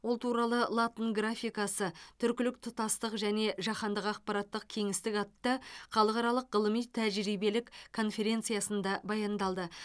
ол туралы латын графикасы түркілік тұтастық және жаһандық ақпараттық кеңістік атты халықаралық ғылыми тәжірибелік конференциясында баяндалды